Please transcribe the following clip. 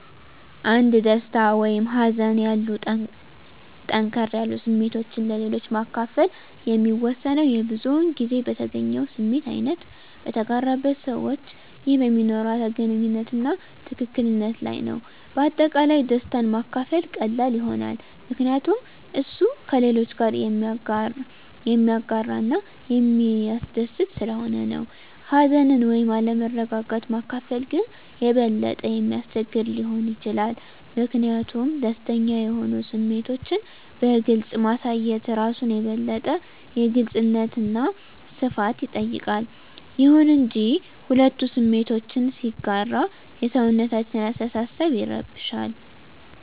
አንድ ደስታ ወይም ሀዘን ያሉ ጠንከር ስሜቶችን ለሌሎች ማከፈል የሚወሰነው የብዙዉን ጊዜ በተገኘው ስሜት አይነት፣ በተጋራበት ሰዋች ይህ በሚኖርዋት ግንኙነት አና ትክክል ነት ለይ ነዉ። በአጠቃላይ ደስታን ማካፈል ቀላል ይሆናል ምከንያቱም እሱ ከሌሎች ጋረ የሚያጋረ እና የሚስደስት ሰለሆነ ነው። ሀዘንን ወይም አለመረጋጋት ማካፈል ግን የበለጠ የሚያስቸግር ሊሆን ይችላል ሚኪንያቱም ደስተኛ የሆኑ ስሜቶችን በግልፅ ማሳየት እራሱን የበለጠ የግልጽነት አና ሰፋት ይጠይቃል። ይሁን እንጂ፣ ሁለቱ ስሜቶችን ሲጋራ የሰውነታችን አሰተሳሰብ ይረብሻል